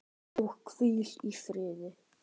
Og hvíl í friði.